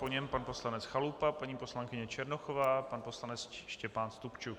Po něm pan poslanec Chalupa, paní poslankyně Černochová, pan poslanec Štěpán Stupčuk.